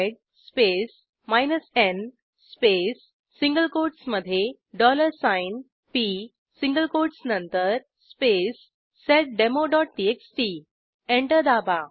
sed space n space single कोटसमधे p single quotes नंतर space seddemoटीएक्सटी एंटर दाबा